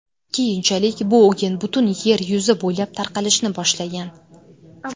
Keyinchalik bu o‘yin butun yer yuzi bo‘ylab tarqalishni boshlagan.